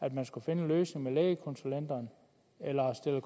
at man skulle finde en løsning for lægekonsulenterne eller stiller